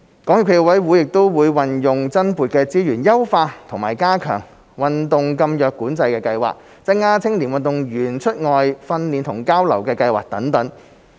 港協暨奧委會也會運用增撥的資源優化及加強運動禁藥管制計劃、增加青年運動員出外訓練和交流的計劃等。